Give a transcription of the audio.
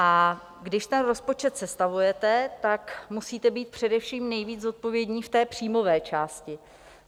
A když ten rozpočet sestavujete, tak musíte být především nejvíc zodpovědní v té příjmové části.